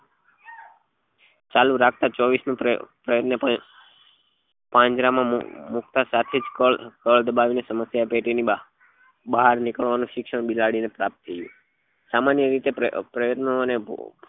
ચાલુ રાખતા ચોવીસ મુ પ્રયત્ન પણ પાંજરા માં મુકતા સાથે જ કલ બળ થી સમસ્યા પેટી ની બાર બહાર નીલવા ની શિક્ષણ બિલાડી ને પ્રાપ્ત થયું સામાન્ય રીતે પ્રાય પ્રયત્નો